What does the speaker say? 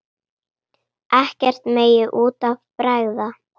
Ekkert megi út af bregða.